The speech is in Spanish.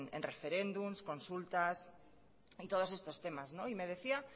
en referéndums consultas y todos estos temas y me decía